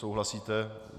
Souhlasíte.